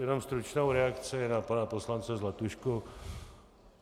Jenom stručnou reakci na pana poslance Zlatušku.